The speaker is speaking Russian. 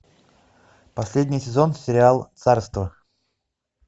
последний сезон сериал царство